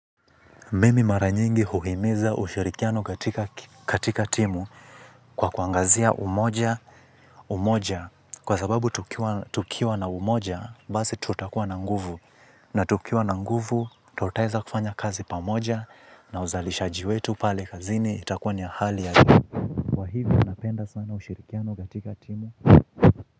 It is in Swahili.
Mimi mara nyingi huhimiza ushirikiano katika timu kwa kuangazia umoja umoja kwa sababu tukiwa tukiwa na umoja basi tutakuwa na nguvu na tukiwa na nguvu tutaeza kufanya kazi pamoja na uzalishaji wetu pale kazini itakuwa ni ya hali ya juu. Kwa hivyo napenda sana ushirikiano katika timu.